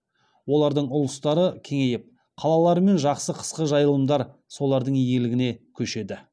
олардың ұлыстары кеңейіп қалалар мен жақсы қысқы жайылымдар солардың иелігіне көшеді